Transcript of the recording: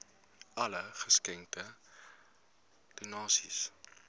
alle geskenke donasies